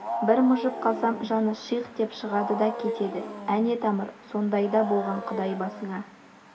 бір мыжып қалсам жаны шиқ деп шығад та кетеді әне тамыр сондай да болған құдай басыңа